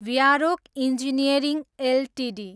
व्यारोक engineering Ltd